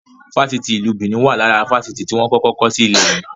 Fásitì ìlú Benin wá lára àwọn Fásitì tí wọn kọ́kọ́ kọ́ si ilẹ̀ yii